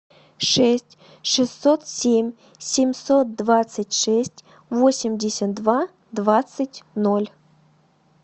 шесть шестьсот семь семьсот двадцать шесть восемьдесят два двадцать ноль